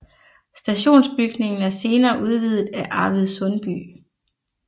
Stationsbygningen er senere udvidet af Arvid Sundby